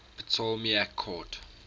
ptolemaic court